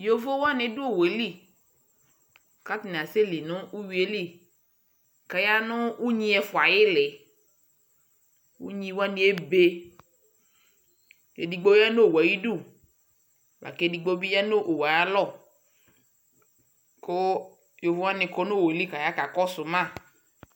Yovowani du owueli ku atani asɛli nu uyui yɛ li ku aya nu unyi ɛfua ayili Unyiwani ebe Edigbo ya nu owu yɛ ayu udu la ku edigno bi ya nu owu yɛ ayu alɔ Ku yovowani kɔ nu owu eli ka yakɔsuma